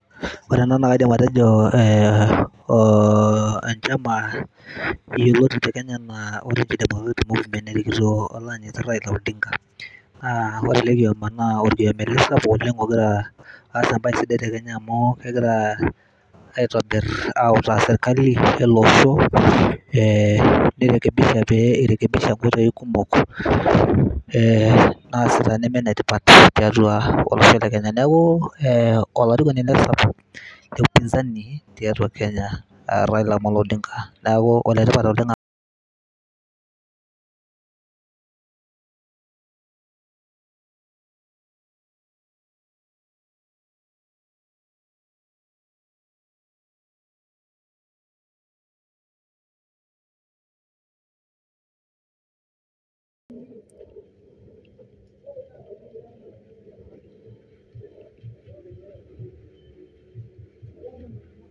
Ore ena naidima atejo ee ee enchama yioloti te kenya anaa orange democratic movement erikitok oloanyiti Raila Odinga naa ore ele kiama naa orkiama ele sapuk oleng ota em party sapuk tekenya aa kegira aitobir autaa serkali eleosho e ni rekebisha pei rekebisha nkoitoi kumok ee naasita nemetipat teleosho le kenya, neaku e olarikoni ele sapuk le upinzani tiatua kenya Raila Amolo Odinga neaku enetipat oleng [break]